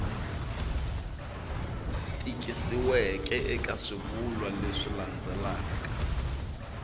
tikisiweke eka swivulwa leswi landzelaka